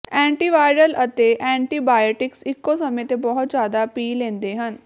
antiviral ਅਤੇ antibiotics ਇੱਕੋ ਸਮੇਂ ਤੇ ਬਹੁਤ ਜ਼ਿਆਦਾ ਪੀ ਲੈਂਦੇ ਹਨ